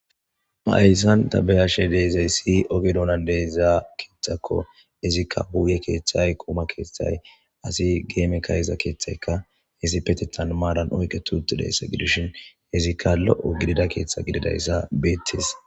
maayssan ta beyashe deezay si oge dounan deyzaa keeththakko izikka huuye keeththay quuma keeththay asi geeme kayiza keeththayka hesi petethan maadan oyke tuutti deyssa gidishin izikka lo7o gidida keeththa gididayssa beettis